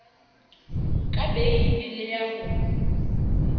ka beile le ya ho